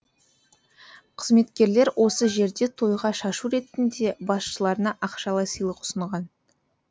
қызметкерлер осы жерде тойға шашу ретінде басшыларына ақшалай сыйлық ұсынған